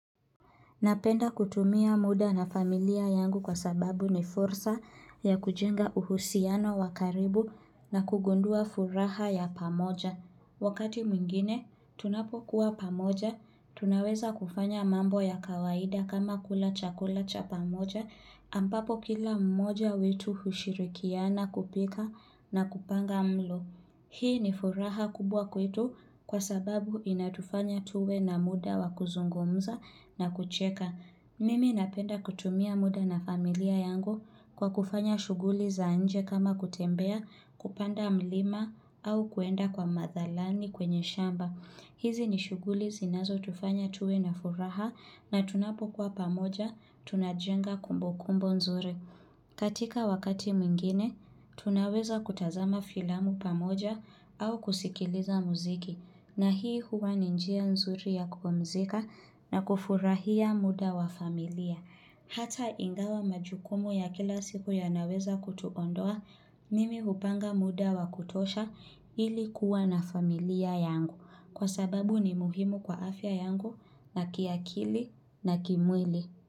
Napenda kutumia muda na familia yangu kwa sababu ni fursa ya kujenga uhusiano wa karibu na kugundua furaha ya pamoja. Wakati mwingine, tunapo kuwa pamoja, tunaweza kufanya mambo ya kawaida kama kula chakula cha pamoja, ampapo kila mmoja wetu hushirikiana kupika na kupanga mlo. Hii ni furaha kubwa kwetu kwa sababu inatufanya tuwe na muda wa kuzungumza na kucheka. Mimi napenda kutumia muda na familia yangu kwa kufanya shuguli za nje kama kutembea, kupanda mlima au kuenda kwa madhalani kwenye shamba. Hizi ni shuguli zinazo tufanya tuwe na furaha na tunapokuwa pamoja tunajenga kumbukumbo nzuri. Katika wakati mwingine, tunaweza kutazama filamu pamoja au kusikiliza muziki na hii huwa ni njia nzuri ya kupumzika na kufurahia muda wa familia Hata ingawa majukumu ya kila siku ya naweza kutuondoa Mimi upanga muda wa kutosha ili kuwa na familia yangu Kwa sababu ni muhimu kwa afya yangu na kiakili na kimwili.